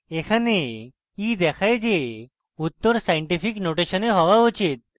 এখানে e দেখায় যে উত্তর scientific নোটেশনে হওয়া উচিত